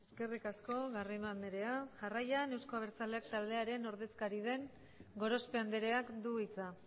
eskerrik asko garrido andrea jarraian euzko abertzaleak taldearen ordezkari den gorospe andreak du hitza